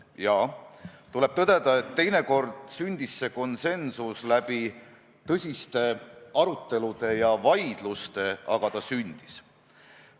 Jaa, tuleb tõdeda, et teinekord sündis see konsensus läbi tõsiste arutelude ja vaidluste, aga ta sündis.